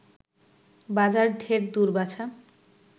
বাজার ঢের দূর বাছা